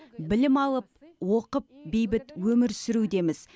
білім алып оқып бейбіт өмір сүрудеміз